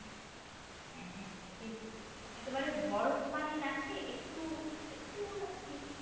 হ্যাঁ হ্যাঁ সেটাই বলছি একেবারে বরফ পানি না খেয়ে একটু একটু আর কি